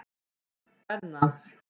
Benna